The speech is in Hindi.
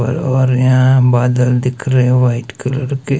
और यहां बादल दिख रहें व्हाइट कलर के--